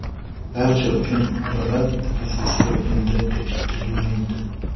Barcha uchun adolat orzusi endi kechiktirilmaydi.